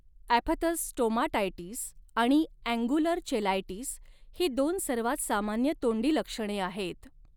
Aphthous stomatitis आणि angular cheilitis ही दोन सर्वात सामान्य तोंडी लक्षणे आहेत.